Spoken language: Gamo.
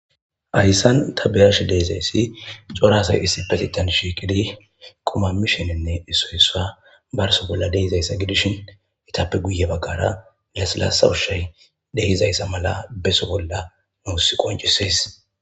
Hayisan ta be ashe dizayisi cora asayi isspetettan shiqidi quma mishenne isoyi isuwa barso bolla dizayisa gidishin ettappe guye bagara lasilasa ushayi dizayisa beso bolla nusi qonccises